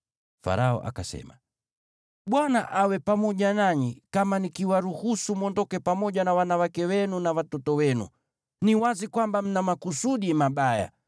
Farao akasema, “ Bwana awe pamoja nanyi, kama nikiwaruhusu mwondoke pamoja na wanawake wenu na watoto wenu! Ni wazi kwamba mna makusudi mabaya.